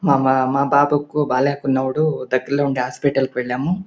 మా ప మా పాపకు బాలేకున్నప్పుడు దగ్గర్లో ఉన్న హాస్పెటల్ కి వెళ్ళాము.